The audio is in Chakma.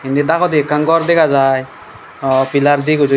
endi dagode ekan gor degajai aw pillar de guri.